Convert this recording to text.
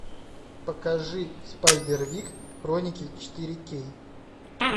покажи спайдервик хроники четыре кей